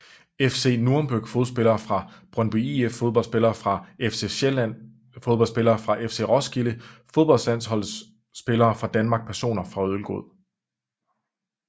FC Nürnberg Fodboldspillere fra Brøndby IF Fodboldspillere fra FC Vestsjælland Fodboldspillere fra FC Roskilde Fodboldlandsholdsspillere fra Danmark Personer fra Ølgod